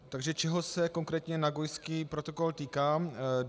Takže čeho se konkrétně Nagojský protokol týká?